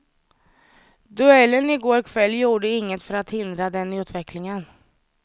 Duellen i går kväll gjorde inget för att hindra den utvecklingen.